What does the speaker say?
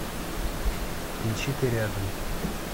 включи ты рядом